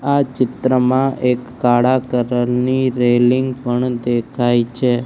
આ ચિત્ર માં એક કાળા કલર ની રેલિંગ પણ દેખાય છે.